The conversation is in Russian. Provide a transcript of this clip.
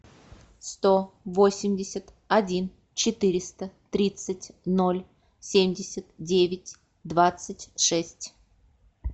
сто восемьдесят один четыреста тридцать ноль семьдесят девять двадцать шесть